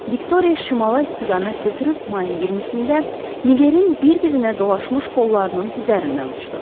Viktoriya şimala istiqamət götürüb mayın 20-də Nigerin bir-birinə dolaşmış qollarının üzərindən uçdu.